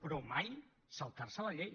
però mai saltarse la llei